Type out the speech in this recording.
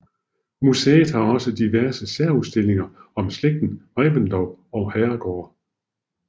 Museet har også diverse særudstillinger om slægten Reventlow og herregårde